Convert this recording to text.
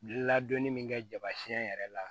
Ladonni min kɛ jabasiyɛn yɛrɛ la